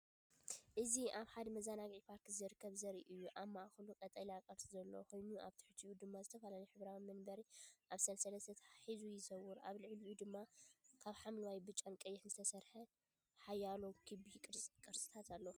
እዚ ኣብ ሓደ መዘናግዒ ፓርክ ዝርከብ ዘርኢ እዩ። ኣብ ማእከሉ ቀጠልያ ቅርጺ ዘለዎ ኮይኑ፡ ኣብ ትሕቲኡ ድማ ዝተፈላለየ ሕብራዊ መንበር ኣብ ሰንሰለት ተተሓሒዙ ይዘውር። ኣብ ልዕሊኡ ድማ ካብ ሐምላይን ብጫን ቀይሕን ዝተሰርሑ ሓያሎ ክቢ ቅርጽታት ኣለዉ።